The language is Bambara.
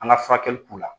An ka furakɛli k'u la